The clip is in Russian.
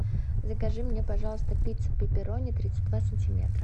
закажи мне пожалуйста пиццу пепперони тридцать два сантиметра